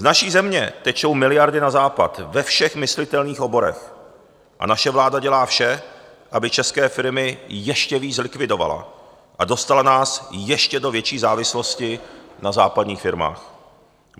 Z naší země tečou miliardy na Západ ve všech myslitelných oborech a naše vláda dělá vše, aby české firmy ještě víc zlikvidovala a dostala nás ještě do větší závislosti na západních firmách.